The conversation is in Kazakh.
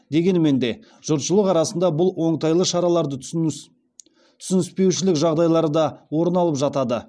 дегенмен де жұртшылық арасында бұл оңтайлы шараларды түсініспеушілік жағдайлары да орын алып жатады